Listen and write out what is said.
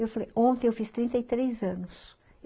Eu falei, ''ontem eu fiz trinta três anos.''